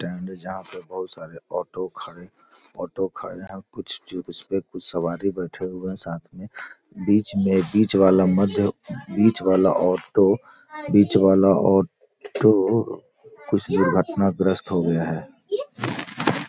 Stand है जहाँ बहुत सारे ऑटो खड़े ऑटो खड़े है और कुछ उस पे सवारी बैठे है साथ में बीच में बीच वाला मध्य बीच वाला ऑटो बीच वाला ऑटो कुछ दुर्घटनाग्रस्त हो गया है।